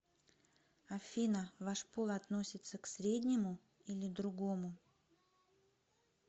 афина ваш пол относится к среднему или другому